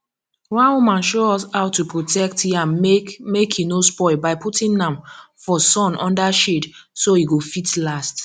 one woman show us how to protect yam make make he no spoil by putting am for sun under shade so he go fit last